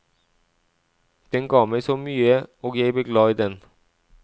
Den ga meg så mye og jeg ble glad i den.